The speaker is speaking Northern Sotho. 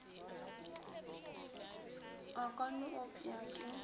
o ka no opša ke